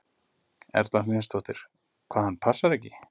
Erla Hlynsdóttir: Hvað, hann passar ekki?